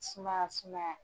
Sumaya sumaya